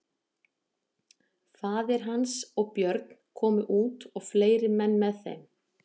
Faðir hans og Björn komu út og fleiri menn með þeim.